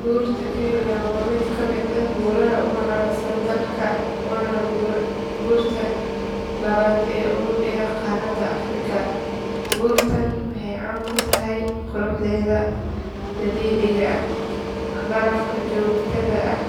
Buurta kenya waa mid ka mid ah buuraha ugu caansan dalka waana buurta labaad ee ugu dheer qaaradda afrika. Buurtan waxay caan ku tahay quruxdeeda dabiiciga ah, barafka joogtada ah